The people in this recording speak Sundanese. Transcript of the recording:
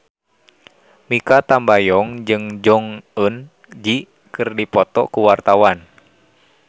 Mikha Tambayong jeung Jong Eun Ji keur dipoto ku wartawan